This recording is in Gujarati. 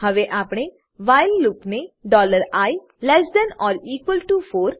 હવે આપણે વ્હાઈલ લૂપને i less than or equal to 4